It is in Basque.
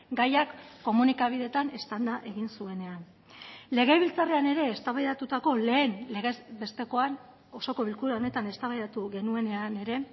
gaiak komunikabideetan eztanda egin zuenean legebiltzarrean ere eztabaidatutako lehen legez bestekoan osoko bilkura honetan eztabaidatu genuenean ere